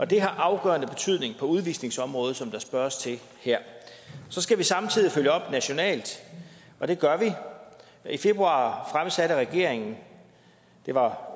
det har afgørende betydning på udvisningsområdet som der spørges til her så skal vi samtidig følge op nationalt og det gør vi i februar fremsatte regeringen det var